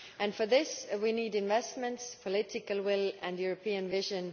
For this we need investments, political will and European vision.